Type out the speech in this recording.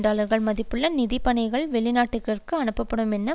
டாலர்கள் மதிப்புள்ள நிதிய பணிகள் வெளிநாடுகளுக்கு அனுப்பப்படும் என்று